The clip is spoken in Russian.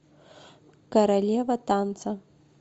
королева танца